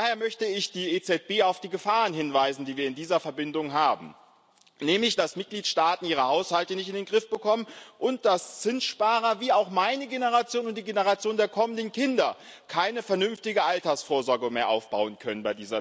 Daher möchte ich die EZB auf die Gefahren hinweisen, die wir in dieser Verbindung haben, nämlich dass Mitgliedstaaten ihre Haushalte nicht in den Griff bekommen, und dass Zinssparer wie auch meine Generation und die Generation der kommenden Kinder bei dieser Zinslast keine vernünftige Altersvorsorge mehr aufbauen können.